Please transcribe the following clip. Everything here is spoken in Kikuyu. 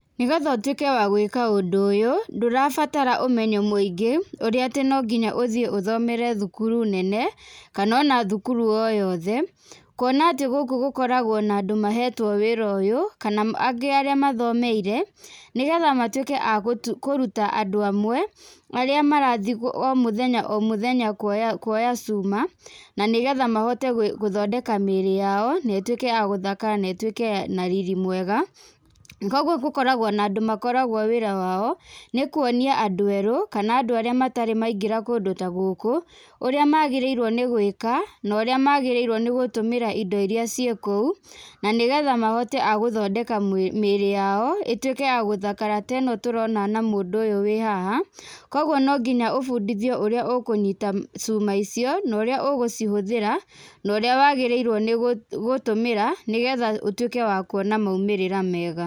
Nĩgetha ũtwĩke wa gwĩka ũndũ ũyũ, ndũrabatara ũmenyo mũingĩ, ũrĩa atĩ no nginya ũthiĩ ũthomere thukuru nene, kana ona thukuru o yothe. Kuona atĩ gũkũ gũkoragwo na andũ mahetwo wĩra ũyũ, kana angĩ arĩa mathomeire, nĩgetha matuĩke a kũruta andũ amwe, arĩa marathiĩ o mũthenya o mũthenya kwoya, kwoya cuma. Na nĩgetha mahote gũthondeka mĩrĩ yao, na ĩtuĩke ya gũthakara, na ĩtuĩke na riri mwega. Koguo gũkoragwo na andũ makoragwo wĩra wao nĩ kuonia andũ erũ, kana andũ arĩa matarĩ maingĩra kũndũ ta gũkũ, ũrĩa magĩrĩirwo nĩgwĩka, na ũrĩa magĩrĩirwo nĩ gũtũmĩra indo iria ciĩ kũu, na nĩgetha mahote a gũthondeka mwĩ, mĩrĩ yao, ĩtuĩke ya gũthakara teno tũrona na mũndũ ũyũ wĩ haha. Koguo no nginya ũbundithio ũrĩa ũkũnyita cuma icio, na ũrĩa ũgũcihũthĩra, na ũrĩa wagĩrĩirwo nĩ gũ, gũtũmĩra, nĩgetha ũtuĩke wa kwona maumĩrĩra mega.